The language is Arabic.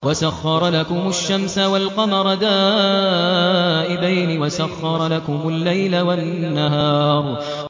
وَسَخَّرَ لَكُمُ الشَّمْسَ وَالْقَمَرَ دَائِبَيْنِ ۖ وَسَخَّرَ لَكُمُ اللَّيْلَ وَالنَّهَارَ